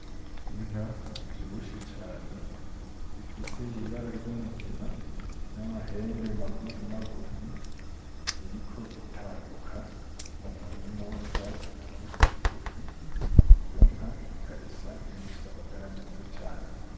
Inka ivyibushe cane ifise ibara ry'umugina n'amahembe magufi magufi iriko itambuka mu murima w'utwatsi tugufi tugufi iyo nka ikaba isa nkiyifise amagara meza cane.